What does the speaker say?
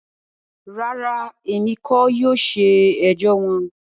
Rara, Emi kii yóò ṣe ẹjọ wọn.